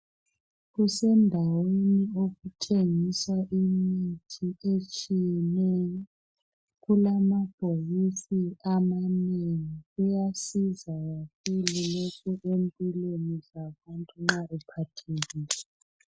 Kusendaweni okuthengiswa imithi etshiyeneyo, kulamabhokisi amanengi. Kuyasiza kakhulu lokhu empilweni zabantu nxa bephathekile.